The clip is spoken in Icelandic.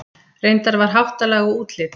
Reyndar var háttalag og útlit